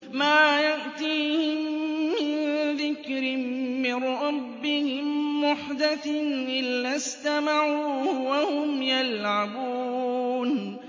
مَا يَأْتِيهِم مِّن ذِكْرٍ مِّن رَّبِّهِم مُّحْدَثٍ إِلَّا اسْتَمَعُوهُ وَهُمْ يَلْعَبُونَ